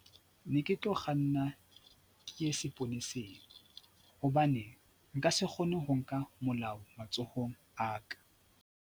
Ne ke tlo kganna ke ye seponeseng hobane nka se kgone ho nka molao matsohong a ka.